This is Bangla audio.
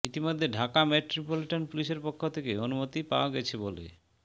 ইতোমধ্যে ঢাকা মেট্রোপলিটন পুলিশের পক্ষ থেকে অনুমতি পাওয়া গেছে বলে